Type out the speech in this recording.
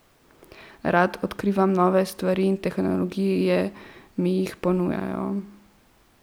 Rad odkrivam nove stvari in tehnologije mi jih ponujajo.